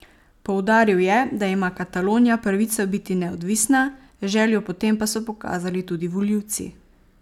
Poudaril je, da ima Katalonija pravico biti neodvisna, željo po tem pa so pokazali tudi volivci.